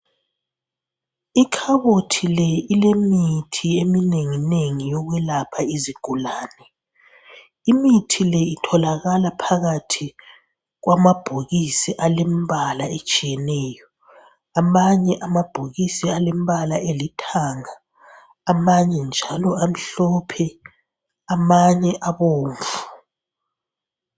Ikhabothi le ilemithi eminenginengi yokwelapha izigulane, imithi le itholakala phakathi kwamabhokisi alembala etshiyeneyo. Amanye amabhokisi alembala elithanga ,amanye njalo amhlophe ,amanye abomvu